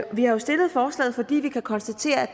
har jo stillet forslaget fordi vi kan konstatere at